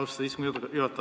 Austatud istungi juhataja!